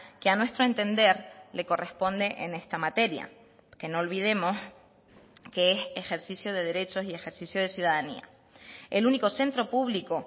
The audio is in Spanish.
que a nuestro entender le corresponde en esta materia que no olvidemos que es ejercicio de derechos y ejercicio de ciudadanía el único centro público